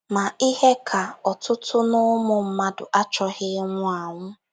Ma, ihe ka ọtụtụ n’ụmụ mmadụ achọghị ịnwụ anwụ.